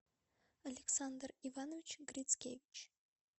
александр иванович грицкевич